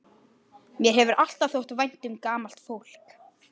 Mér hefur alltaf þótt vænt um gamalt fólk.